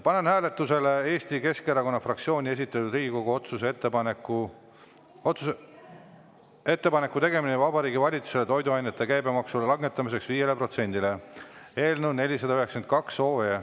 Panen hääletusele Eesti Keskerakonna fraktsiooni esitatud Riigikogu otsuse "Ettepaneku tegemine Vabariigi Valitsusele toiduainete käibemaksu langetamiseks 5-le protsendile" eelnõu 492.